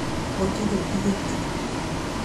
Gũtirĩ ihĩtia